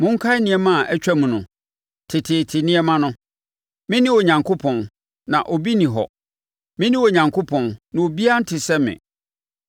Monkae nneɛma a atwam no, teteete nneɛma no; Me ne Onyankopɔn, na obi nni hɔ; Me ne Onyankopɔn, na obiara nte sɛ me.